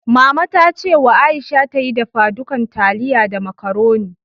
Mama ta ce wa Aisha ta yi dafadukan taliya da macaroni.